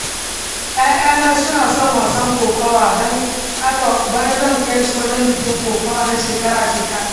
‘Ya’yana suna son wasan kokawa, don haka bana zai kai su wajen biki kokawa na shekara-shekara.